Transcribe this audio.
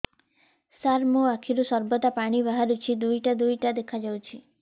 ସାର ମୋ ଆଖିରୁ ସର୍ବଦା ପାଣି ବାହାରୁଛି ଦୁଇଟା ଦୁଇଟା ଦେଖାଯାଉଛି